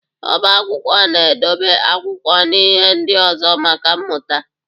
Oba akwụkwọ na edobe akwụkwọ na ihe ndị ọzọ maka mmụta.